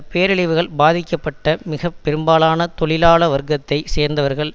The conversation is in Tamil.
பேரழிவுகள் பாதிக்கப்பட்ட மிக பெரும்பாலான தொழிலாள வர்க்கத்தை சேர்ந்தவர்கள்